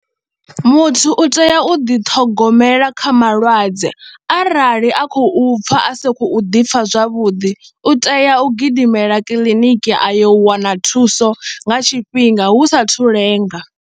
Muthu u tea u ḓiṱhogomela kha malwadze arali a khou pfha a sa khou ḓi pfha zwavhuḓi u tea u gidimela kiḽiniki a yo wana thuso nga tshifhinga hu satahu lenga.